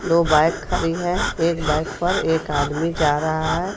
दो बाइक खड़ी है एक बाइक पर एक आदमी जा रहा है.